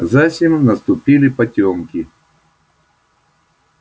засим наступили потёмки